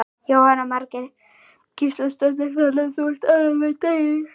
Jóhanna Margrét Gísladóttir: Þannig að þú ert ánægður með daginn?